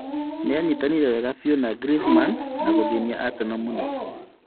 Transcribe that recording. Nĩanyitanire wega fiũ na Griezman na gũthĩnia arsenal mũno…